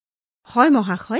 হয় মহোদয়